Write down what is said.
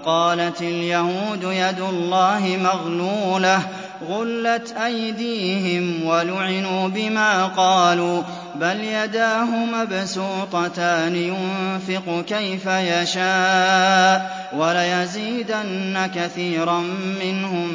وَقَالَتِ الْيَهُودُ يَدُ اللَّهِ مَغْلُولَةٌ ۚ غُلَّتْ أَيْدِيهِمْ وَلُعِنُوا بِمَا قَالُوا ۘ بَلْ يَدَاهُ مَبْسُوطَتَانِ يُنفِقُ كَيْفَ يَشَاءُ ۚ وَلَيَزِيدَنَّ كَثِيرًا مِّنْهُم